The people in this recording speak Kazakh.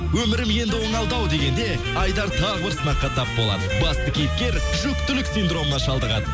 өмірім енді оңалды ау дегенде айдар тағы бір сынаққа тап болады басты кейіпкер жүктілік синдромына шалдығады